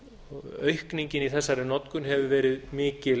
og aukningin í þessari notkun hefur verið mikil